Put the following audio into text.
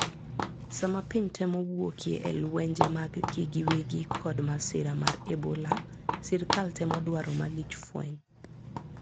Sama piny temo wuokie elwenje mag gi giwegi kod masira mar Ebola sirikal temo dwaro malich fweny